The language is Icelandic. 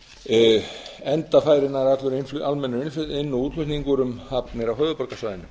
höfuðborgarsvæðinu enda færi allur almennur inn og útflutningur um hafnir á höfuðborgarsvæðinu